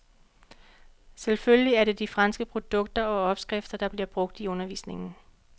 Selvfølgelig er det de franske produkter og opskrifter, der bliver brugt i undervisningen.